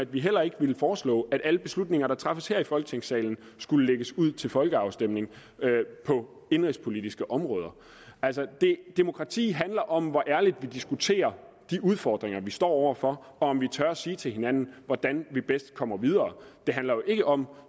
vi heller ikke ville foreslå at alle beslutninger der træffes her i folketingssalen skulle lægges ud til folkeafstemning på indenrigspolitiske områder altså demokrati handler om hvor ærligt vi diskuterer de udfordringer vi står over for og om vi tør sige til hinanden hvordan vi bedst kommer videre det handler jo ikke om